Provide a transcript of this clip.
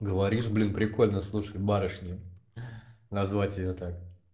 говоришь блин прикольно слушай барышня назвать её так